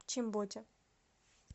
чимботе